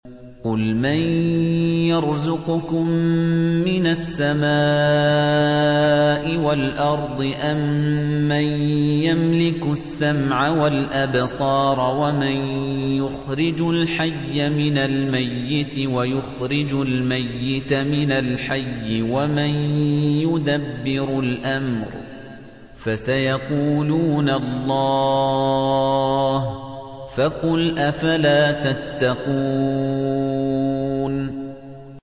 قُلْ مَن يَرْزُقُكُم مِّنَ السَّمَاءِ وَالْأَرْضِ أَمَّن يَمْلِكُ السَّمْعَ وَالْأَبْصَارَ وَمَن يُخْرِجُ الْحَيَّ مِنَ الْمَيِّتِ وَيُخْرِجُ الْمَيِّتَ مِنَ الْحَيِّ وَمَن يُدَبِّرُ الْأَمْرَ ۚ فَسَيَقُولُونَ اللَّهُ ۚ فَقُلْ أَفَلَا تَتَّقُونَ